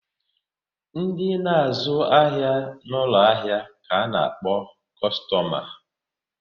Ndi na-azu ahia n'ulo ahia ka a na-akpo kostoma